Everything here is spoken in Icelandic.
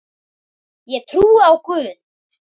Ég trúi á Guð!